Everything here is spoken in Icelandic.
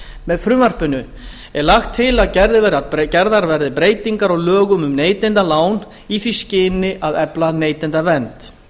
með frumvarpinu er lagt til að gerðar verði breytingar á lögum um neytendalán í því skyni af efla neytendavernd